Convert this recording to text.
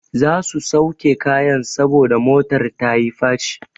Za su sauke kayan saboda motar ta yi faci.